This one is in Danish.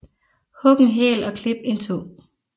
Hug en hæl og klip en tå